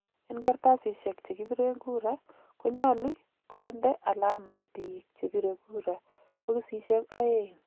En kartasisiek chekibiren kura ,ko nyoli konde alama biik chepire kura bokisishiek ooeeng.